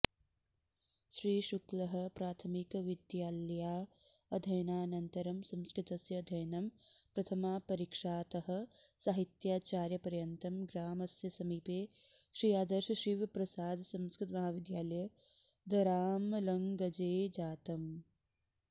श्री शुक्लः प्राथमिकविद्यालयाध्ययनानन्तरम् संस्कृतस्य अध्ययनं प्रथमापरीक्षातः साहित्याचार्यपर्यन्तं ग्रामस्यसमीपे आदर्श श्री शिवप्रसाद संस्कृतमहाविद्यालये दरामलगंजेजातम्